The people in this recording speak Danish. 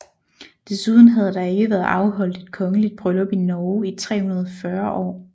Desuden havde der ikke været afholdt et kongeligt bryllup i Norge i 340 år